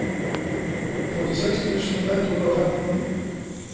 førtiseks tusen ett hundre og femten